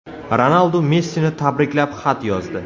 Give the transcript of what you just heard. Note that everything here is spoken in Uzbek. Ronaldu Messini tabriklab xat yozdi.